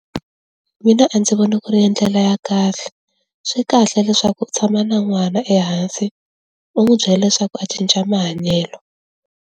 Mina a ndzi voni ku ri ndlela ya kahle, swi kahle leswaku u tshama na n'wana ehansi u n'wi byela leswaku a cinca mahanyelo.